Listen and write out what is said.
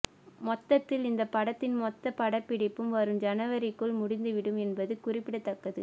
மொத்தத்தில் இந்த படத்தின் மொத்த படப்பிடிப்பும் வரும் ஜனவரிக்குள் முடிந்துவிடும் என்பது குறிப்பிடத்தக்கது